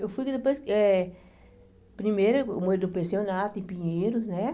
Eu fui depois, eh primeiro eu morei no pensionato em Pinheiros, né?